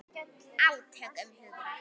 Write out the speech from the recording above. Átök um hugtök.